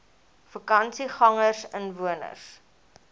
vakansiegangersinwoners